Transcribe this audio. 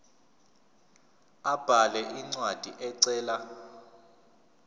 abhale incwadi ecela